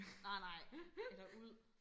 nej nej eller ud